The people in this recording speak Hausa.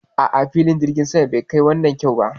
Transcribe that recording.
A'a, filin jirgin saman bai kai wannan kyau ba